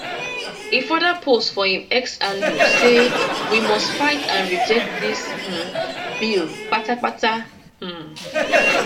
e further post for im x handle say we must fight and reject dis um bill kpatakpata um